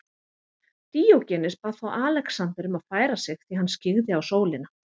Díógenes bað þá Alexander um að færa sig því hann skyggði á sólina.